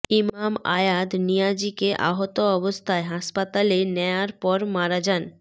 ইমাম আয়াদ নিয়াজিকে আহত অবস্থায় হাসপাতালে নেয়ার পর মারা যান